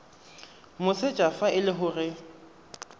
moseja fa e le gore